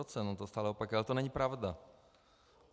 On to stále opakuje, ale to není pravda.